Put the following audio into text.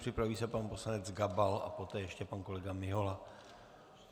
Připraví se pan poslanec Gabal, a poté ještě pan kolega Mihola.